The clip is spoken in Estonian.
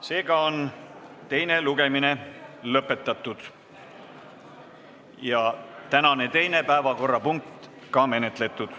Seega on teine lugemine lõpetatud ja tänane teine päevakorrapunkt menetletud.